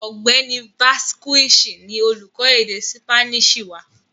Ọ̀gbẹ́ni Vazquez ni olúkọ́ èdè Sípáníìṣì wà